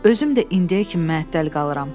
Özüm də indiyə kimi məəttəl qalıram.